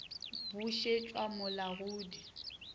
bušetšwa mo la go di